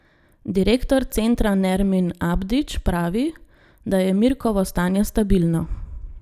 Direktor centra Nermin Abdić pravi, da je Mirkovo stanje stabilno.